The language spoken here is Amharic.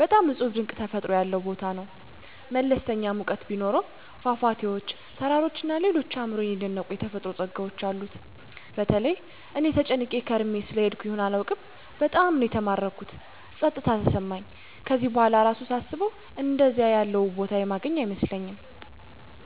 በጣም እጹብ ድንቅ ተፈጥሮ ያለው ቦታ ነው። መለስተኛ ሙቀት ቢኖሰውም ፏፏቴዎች፣ ተራራዎች እና ሌሎች አእምሮየን የደነቁት የተፈጥሮ ጸጋዎች አሉት። በተለይ እኔ ተጨናንቄ ከርሜ ስለሄድኩ ይሁን አላውቅም በጣም ነው የተማረኩት ጸጥታ የተሰማኝ ከዚህ በኋላ እራሱ ሳስበው አንደዚያ ያለ ውብ ቦታ የማገኝ አይመስለኝም።